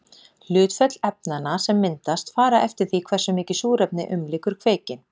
Hlutföll efnanna sem myndast fara eftir því hversu mikið súrefni umlykur kveikinn.